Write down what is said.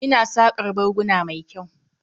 Ina saƙar barguna mai kyau.